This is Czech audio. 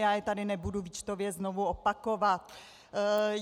Já je tady nebudu výčtově znovu opakovat.